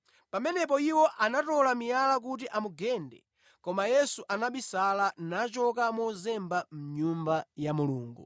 Pamenepo iwo anatola miyala kuti amugende, koma Yesu anabisala, nachoka mozemba mʼNyumba ya Mulungu.